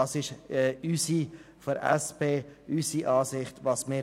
Dies ist unsere Ansicht seitens der SP.